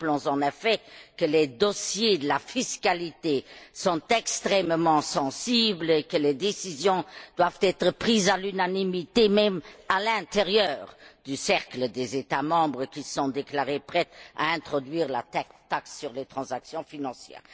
Rappelons, en effet, que les dossiers de la fiscalité sont extrêmement sensibles et que les décisions doivent être prises à l'unanimité, même à l'intérieur du cercle des États membres qui se sont déclarés prêts à introduire la taxe sur les transactions financières.